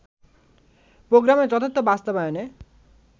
প্রোগ্রামের যথার্থ বাস্তবায়নে